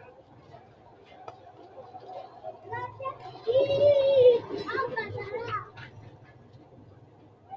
Kuni laneemmohu gonxxani daalasa ikkanna konne daalasa loosinnohu manchcho